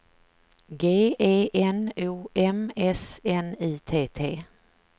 G E N O M S N I T T